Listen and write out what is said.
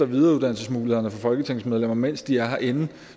videreuddannelsesmulighederne for folketingsmedlemmer mens de er herinde